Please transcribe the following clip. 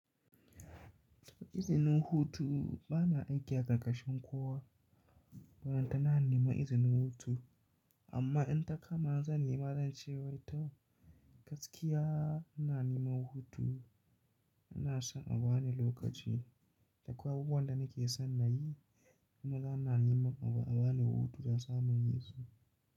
Izinin hutu bana aiki a ƙarƙashin kowa, balantana in nema izinin hutu. Amma in ta kama zan nema, zan ce wai to gaskiya inna neman hutu, inna so abane lokaci. Akwai abubuwa da nake san na yi, kuma bana nema abu abane hutu don in samun inyi su.